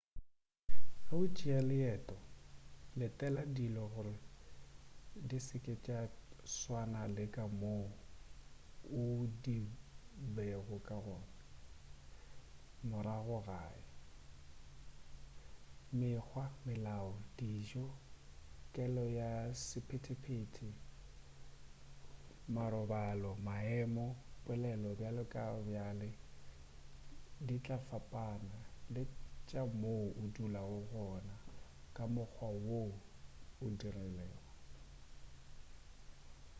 ge o tšea leeteo letela dilo gore di se ke tša tswana le ka moo di bego ka gona morago gae mekgwa melao dijo kelo ya sephetephete marobalo maemo polelo bjale le bjale di tla fapana le tša mo o dulago gona ka mokgwa wo o rilego